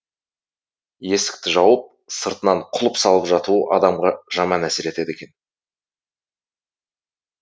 есікті жауып сыртынан құлып салып жатуы адамға жаман әсер етеді екен